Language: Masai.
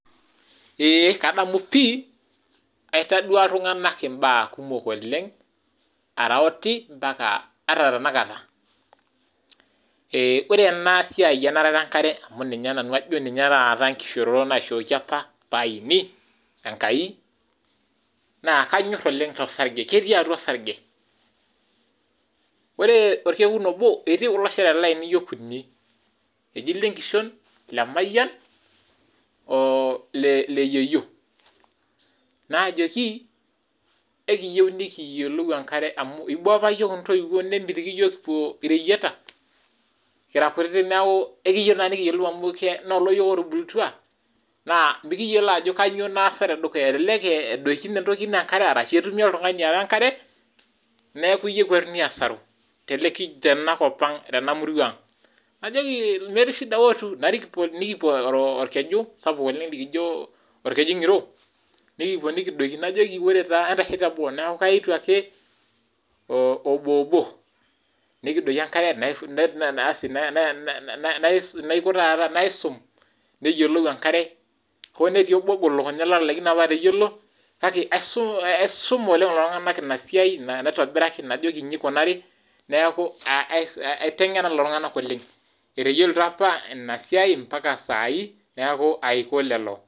Ee kadamu pi aitadua iltunganak imbaa kumok oleng ara oti mpaka tenakata, ore ena siai enarata enkare amu kajo nanu ninye taata enkishoroto naishooki apa pee aini Enkai, naa kanyor oleng torsange ,ketii atua orsarge, ore enkata nabo etii kulo shoreta lainei okuni eji lenkishon, lemayian o leyeyio najoki ekiyieu nikiyiolou enkare amu eiboo apa iyiok intoiwuo nwmitiki yiook kipuo iteyieta kira kutitik neeku ikiyieu naa nikiyiolou amu loolo yiok otubulutua neeku mikiyiolo ajo kainyoo naasa tedukuya elek eesa entoki nedoiki enkare orashu etumi oltungani oowa enkare neeku iyieu ekwatuni aasaru tena murua ang .najoki metii shida ootu narik nikipuo orkeju sapuk oleng likijo orkeju ngiro nikipuo nikidoiki najoki ore taa entasho teboo neeku kaitu ake obo obo nikidoiki enkare naisum neyiolou enkare hoo netii obolo ogol elukunya otalaikine apa atayiolo kake aisuma oleng lelo tunganak ina siai naitobiraki najoki inji eikunari neeku aitengen lelo tunganak oleng etayiolito apa ina siai mpaka saai neeku aiko lelo.